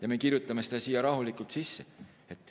Aga me kirjutame selle siia rahulikult sisse.